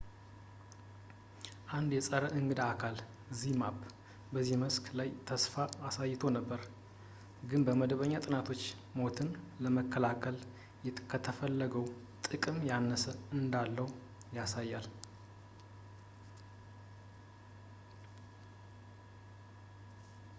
አንድ የጸረ እንግዳ አካል zmapp በዚህ መስክ ላይ ተስፋን አሳይቶ ነበር ግን መደበኛ ጥናቶች ሞትን ለመከላከል ከተፈለገው ጥቅም ያነሰ እንዳለው ያሳያል